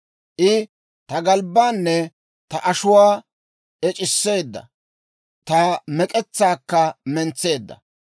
I ta galbbaanne ta ashuwaa ec'iseedda; ta mek'etsaakka mentseedda.